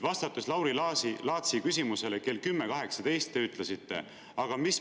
Vastates Lauri Laatsi küsimusele kell 10.18, te ütlesite: "Mis me oleme saavutanud?